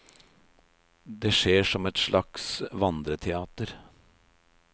Det skjer som et slags vandreteater.